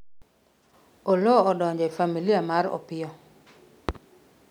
Oloo odonjo ne Familia mar Opiyo